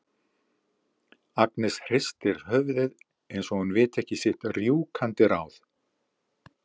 Agnes hristir höfuðið eins og hún viti ekki sitt rjúkandi ráð.